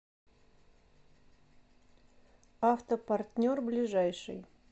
автопартнер ближайший